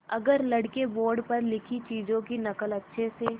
अगर लड़के बोर्ड पर लिखी चीज़ों की नकल अच्छे से